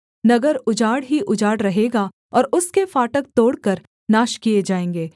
नगर उजाड़ ही उजाड़ रहेगा और उसके फाटक तोड़कर नाश किए जाएँगे